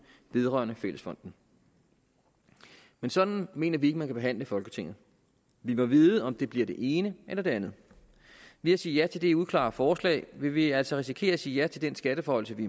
vedrørende fællesfonden men sådan mener vi ikke man kan behandle folketinget vi må vide om det bliver det ene eller det andet ved at sige ja til det uklare forslag vil vi altså risikere at sige ja til den skatteforhøjelse vi